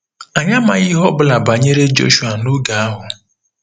Anyị amaghị ihe ọ bụla banyere Jọshụa n'oge ahụ.